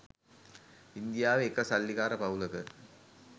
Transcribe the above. ඉන්දියාවෙ එක සල්ලිකාර පවුලක